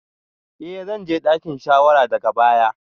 Eh zan je dakin shawara daga baya